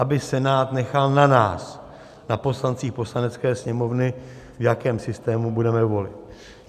Aby Senát nechal na nás, na poslancích Poslanecké sněmovny, v jakém systému budeme volit.